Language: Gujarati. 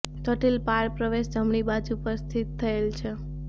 જટિલ પાળ પ્રવેશ જમણી બાજુ પર સ્થિત થયેલ છે